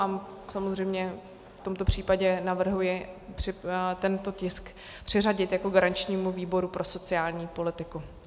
A samozřejmě v tomto případě navrhuji tento tisk přiřadit jako garančnímu výboru pro sociální politiku.